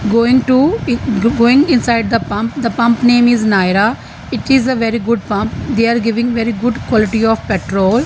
going to going inside the pump the pump name is nayara it is a very good pump they are giving very good quality of petrol.